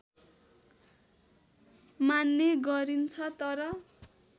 मान्ने गरिन्छ तर